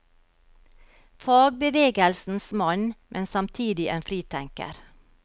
Fagbevegelsens mann, men samtidig en fritenker.